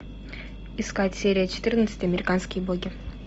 искать серия четырнадцать американские боги